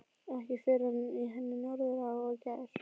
Ekki fyrr en í henni Norðurá í gær.